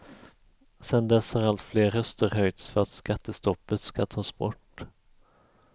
Sedan dess har allt fler röster höjts för att skattestoppet ska tas bort.